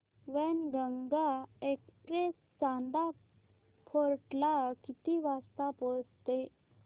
Wainganga express Chanda fort ला किती वाजता पोहचते